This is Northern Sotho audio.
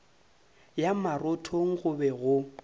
ya marothong go be go